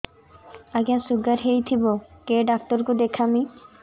ଆଜ୍ଞା ଶୁଗାର ହେଇଥିବ କେ ଡାକ୍ତର କୁ ଦେଖାମି